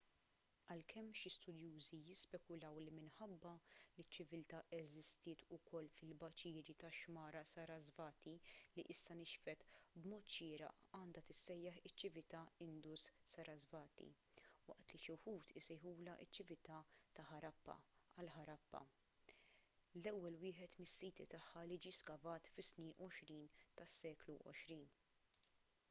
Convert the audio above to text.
għalkemm xi studjużi jispekulaw li minħabba li ċ-ċiviltà eżistiet ukoll fil-baċiri tax-xmara sarasvati li issa nixfet b'mod xieraq għandha tissejjaħ iċ-ċiviltà indus-sarasvati waqt li xi wħud isejħulha ċ-ċiviltà ta' ħarappa għal ħarappa l-ewwel wieħed mis-siti tagħha li ġie skavat fis-snin 20 tas-seklu għoxrin